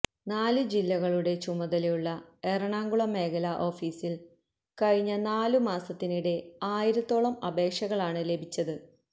നാലു ജില്ലകളുടെ ചുമതലയുള്ള എറണാകുളം മേഖല ഓഫീസില് കഴിഞ്ഞ നാലു മാസത്തിനിടെ ആയിരത്തോളം അപേക്ഷകളാണ് ലഭിച്ചത്